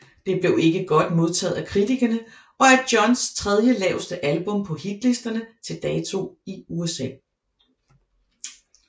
Det blev ikke godt modtaget af kritikerne og er Johns tredje laveste album på hitlisterne til dato i USA